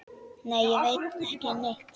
Nei, ég veit ekki neitt.